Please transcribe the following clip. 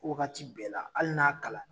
Fo wagati bɛɛ la hali n'a kalan na